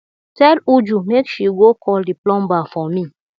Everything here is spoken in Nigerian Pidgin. tell uju make she go call the plumber for me